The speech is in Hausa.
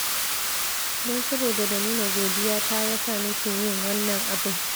Don saboda na nuna godiyata ya sa nake yin wannan abin